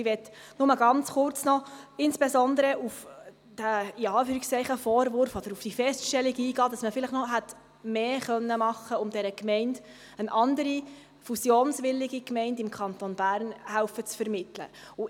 Ich möchte nur noch ganz kurz insbesondere auf den «Vorwurf» oder auf die Feststellung eingehen, dass man vielleicht noch mehr hätte tun und dieser Gemeinde eine andere fusionswillige Gemeinde im Kanton Bern hätte vermitteln helfen können.